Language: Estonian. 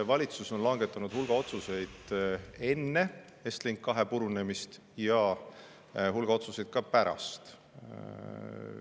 Valitsus on langetanud hulga otsuseid enne Estlink 2 purunemist ja hulga otsuseid ka pärast seda.